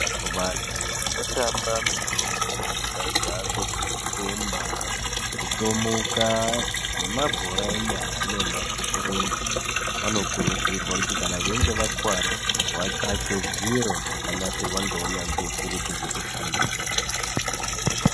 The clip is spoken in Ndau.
Vantu vano tamba mitambo yakaita sekurumba, kutomuka nema hora enyara nemarenje vano kurudzirwa kuti kana vachinge vakuwara vatsvake zviro zvakanasirwa neunyanzvi ukuru zvekushandisa.